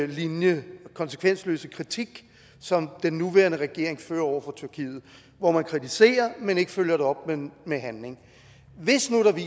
linje og konsekvensløse kritik som den nuværende regering har over for tyrkiet hvor man kritiserer men ikke følger det op med handling